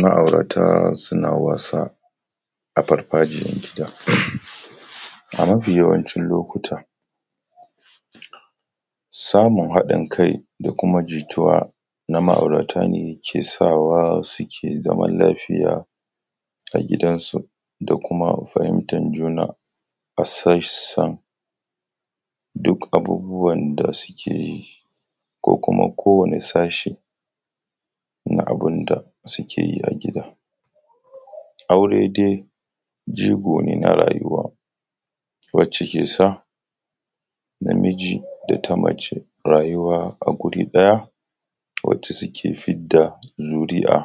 Ma aurata suna wasa a farfajiyan gida.[um] A mafi yawancin lokuta samun haɗin kai da kuma jituwa na ma auratan kesawa suke zaman lafiya a gidansu da kuma fahimtan juna a sassa duk abubuwan da sukeyi ko kuma ko wanne sashi na abunda sukeyi a gida. Aure dai jigo ne na rayuwa wacce kesa namiji da na mace rayuwa a guri ɗaya wacce suke fidda zuri’a,